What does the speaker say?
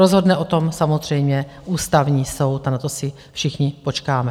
Rozhodne o tom samozřejmě Ústavní soud a na to si všichni počkáme.